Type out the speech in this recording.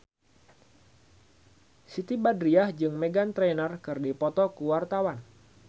Siti Badriah jeung Meghan Trainor keur dipoto ku wartawan